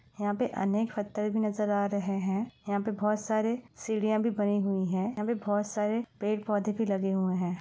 यहाँ पे अनेक नज़र आ रहे हैं। यहाँ पे बहुत सारे सीढ़िया भी बनी हुई हैं। यहाँ पे बहुत सारे पेड़-पौधे भी लगे हुए हैं।